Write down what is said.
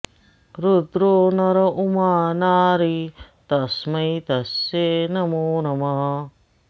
रुद्रो नर उमा नारी तस्मै तस्यै नमो नमः